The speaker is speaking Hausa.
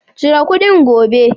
Cire kuɗin gobe!